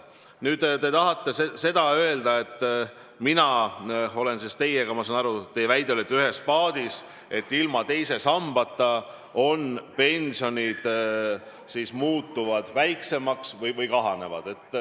Nüüd, te tahate öelda, et mina olen teiega – ma saan aru, et teie väide selline oli – ühes paadis, uskudes, et ilma teise sambata pensionid muutuvad väiksemaks ehk kahanevad.